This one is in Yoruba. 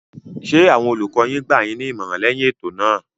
Ṣé àwọn olùkọ yín gbà yín ní ìmọ̀ràn lẹyìn ètò náà.